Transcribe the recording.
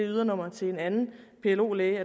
ydernummer til en anden plo læge